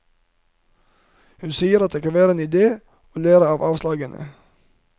Hun sier at det kan være en idé å lære av avslagene.